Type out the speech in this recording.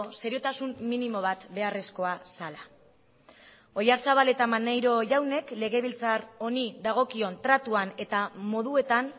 seriotasun minimo bat beharrezkoa zela oyarzabal eta maneiro jaunek legebiltzar honi dagokion tratuan eta moduetan